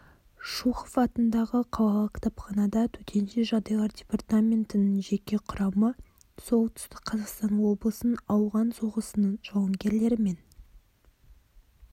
шухов атындағы қалалық кітапханада төтенше жағдайлар департаментінің жеке құрамы солтүстік қазақстан облысының ауған соғысының жауынгерлерімен